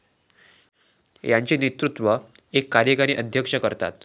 याचे नेतृत्व एक कार्यकारी अध्यक्ष करतात.